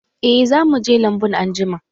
Eh, za mu je lambun anjima.